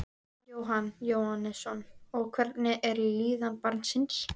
Jóhann Jóhannsson: Og hvernig er líðan barnsins?